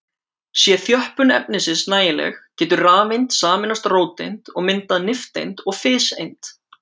Sé þjöppun efnisins nægileg getur rafeind sameinast róteind og myndað nifteind og fiseind.